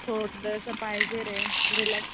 थोडसं पाहिजे रे रिलॅक्स